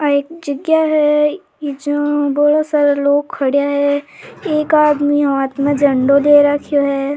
आ एक जगह है जहां बोला सारा लोग खड़ा है एक आदमी हाथ में झंडो ले रखो है।